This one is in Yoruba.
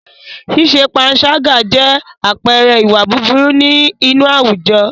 Ṣíṣe pańṣágà jẹ́ àpẹẹrẹ ìwà búburú inú àwùjọ.